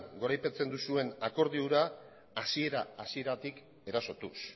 goraipatzen duzuen akordio hura hasiera hasieratik erasotuz